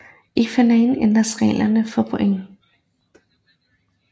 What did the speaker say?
I finalen ændres reglerne for point